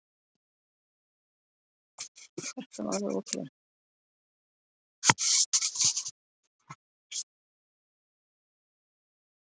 Í sannleika sagt var honum nákvæmlega sama.